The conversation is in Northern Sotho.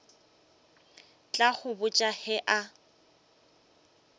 tla go botša ge a